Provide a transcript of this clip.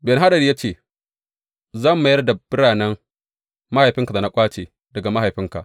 Ben Hadad ya ce, Zan mayar da biranen mahaifinka da na ƙwace daga mahaifinka.